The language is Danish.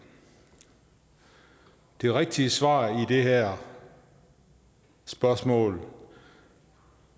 det rigtige svar i det her spørgsmål